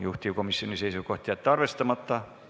Juhtivkomisjoni seisukoht: jätta see arvestamata.